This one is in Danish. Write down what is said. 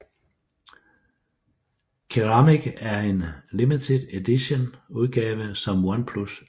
Ceramic er en limited edition udgave som OnePlus lavede